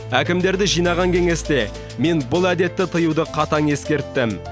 әкімдерді жинаған кеңесте мен бұл әдетті тыюды қатаң ескерттім